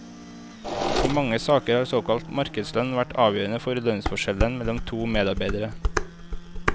I mange saker har såkalt markedslønn vært avgjørende for lønnsforskjellen mellom to medarbeidere.